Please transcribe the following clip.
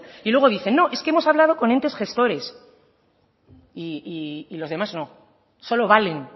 y luego dicen no es que hemos hablado con entes gestores y los demás no solo valen